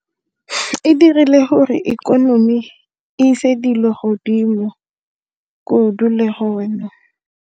E dirile gore ikonomi e ise dilo godimo kudu le hona.